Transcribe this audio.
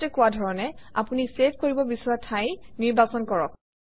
আগতে কোৱা ধৰণে আপুনি চেভ কৰিব বিচৰা ঠাই নিৰ্বাচন কৰক